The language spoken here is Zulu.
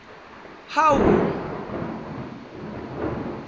hawu